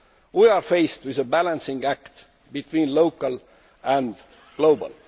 We are faced with a balancing act between the local and the global.